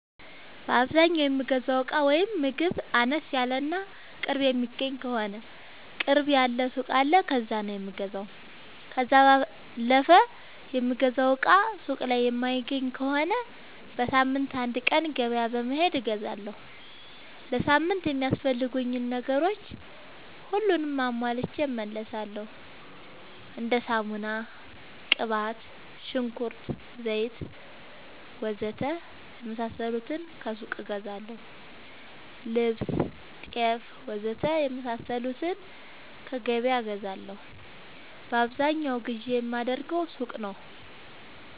በአዛኛው የምገዛው እቃ ወይም ምግብ አነስ ያለ እና ቅርብ የሚገኝ ከሆነ ቅርብ ያለ ሱቅ አለ ከዛ ነው የምገዛው። ከዛ ባለፈ የምፈልገውን እቃ ሱቅ ላይ የማይገኝ ከሆነ በሳምንት አንድ ቀን ገበያ በመሄድ እገዛለሁ። ለሳምንት የሚያስፈልጉኝ ነገሮች ሁሉንም አሟልቼ እመለሣለሁ። እንደ ሳሙና፣ ቅባት፣ ሽንኩርት፣ ዘይት,,,,,,,,, ወዘተ የመሣሠሉትን ከሱቅ እገዛለሁ። ልብስ፣ ጤፍ,,,,,,,,, ወዘተ የመሣሠሉትን ከገበያ እገዛለሁ። በአብዛኛው ግዢ የማደርገው ሱቅ ነው።